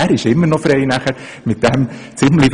Er ist danach immer noch frei, damit zu tun, was er will.